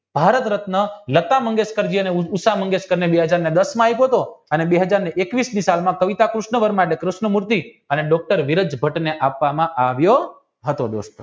ભારત રત્ન લતા મંગેશકર બે હાજર ને દસ માં આપ્યો હતો અને બે હાજર ને એકવીસની સલમા કવિતા કૃષ્ણ વર્મા ને કૃષ્ણ મૂર્તિ અને ડોક્ટર વિરાજ ભટ્ટને આપવામાં હતો